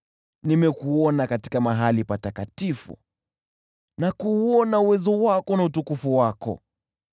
Nimekuona katika mahali patakatifu na kuuona uwezo wako na utukufu wako.